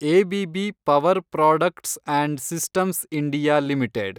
ABB power products and systems India limited